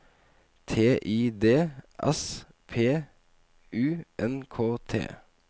T I D S P U N K T